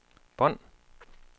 bånd